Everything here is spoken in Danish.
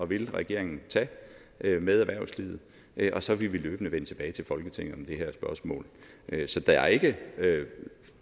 vil regeringen tage med erhvervslivet og så vil vi løbende vende tilbage til folketinget om det her spørgsmål så der er ikke